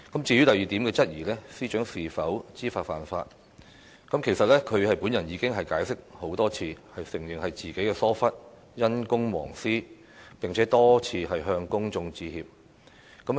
至於第二點質疑，即司長是否知法犯法，其實她已經解釋很多次，承認是自己疏忽，因公忘私，並且多次向公眾致歉。